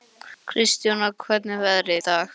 Kristjóna, hvernig er veðrið í dag?